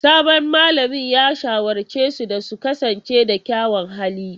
Sabon malamin ya shawarce su da su kasance da kyawawan halaye.